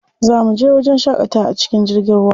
Za muje wajen shaƙatawa a cikin jirgin ruwa.